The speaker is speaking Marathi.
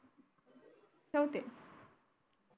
ठेवते